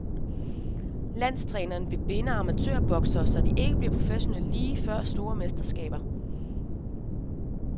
Landstræner vil binde amatørboksere, så de ikke bliver professionelle lige før store mesterskaber.